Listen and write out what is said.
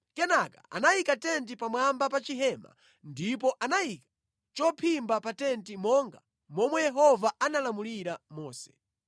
Kenaka anayika tenti pamwamba pa chihema ndipo anayika chophimba pa tenti monga momwe Yehova analamulira Mose.